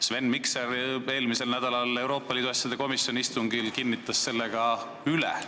Sven Mikser eelmisel nädalal Euroopa Liidu asjade komisjoni istungil kinnitas selle ka üle.